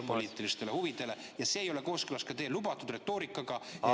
Eesti välispoliitilistele huvidele ja ei ole kooskõlas teie lubatud retoorikaga, et ...